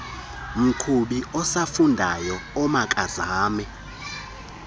mqhubi osafundayo omakazame